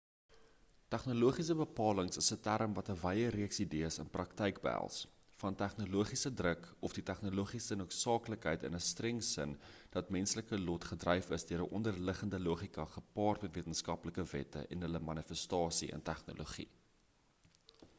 tegnologiese bepaling is 'n term wat 'n wye reeks idees in praktyk behels van tegnologiese-druk of die tegnologiese noodsaaklikheid in 'n streng sin dat menslike lot gedryf is deur 'n onderliggende logika gepaard met wetenskaplike wette en hulle manifestasie in tegnologie